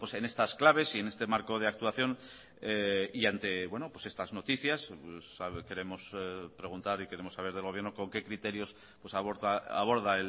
en estas claves y en este marco de actuación y ante estas noticias queremos preguntar y queremos saber del gobierno con qué criterios aborda